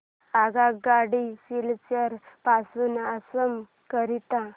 आगगाडी सिलचर पासून आसाम करीता